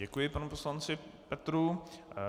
Děkuji panu poslanci Petrů.